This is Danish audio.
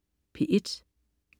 P1: